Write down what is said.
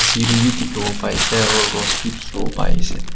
siri bi dikhibo pai ase aru rose bi dikhibo pai ase.